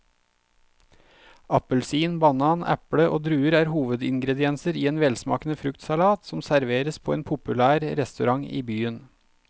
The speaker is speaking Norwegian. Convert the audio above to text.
Appelsin, banan, eple og druer er hovedingredienser i en velsmakende fruktsalat som serveres på en populær restaurant i byen.